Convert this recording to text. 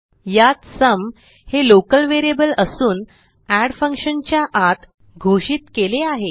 यात सुम हे local variable असून एड फंक्शन च्या आत घोषित केले आहे